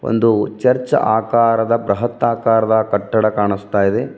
ಒಂದು ಚರ್ಚ್ ಆಕಾರದ ಬೃಹತ್ ಆಕಾರದ ಕಟ್ಟದ ಕಾಣಿಸ್ತ ಇದೆ.